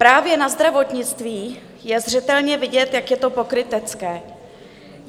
Právě na zdravotnictví je zřetelně vidět, jak je to pokrytecké.